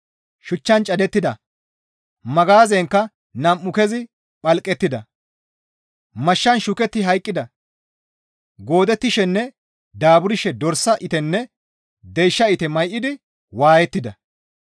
Shuchchan cadettida; magaazenkka nam7u kezi phalqettida; mashshan shuketti hayqqida; goodettishenne daaburshe dorsa itenne deysha ite may7idi waayettida.